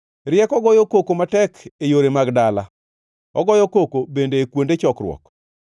Rieko goyo koko matek e yore mag dala, ogoyo koko bende e kuonde chokruok;